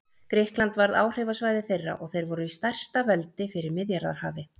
Grikkland varð áhrifasvæði þeirra og þeir voru stærsta veldi fyrir Miðjarðarhafi.